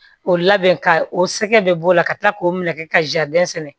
O labɛn ka o sɛgɛ bɛ b'o la ka tila k'o minɛ ka sɛnɛ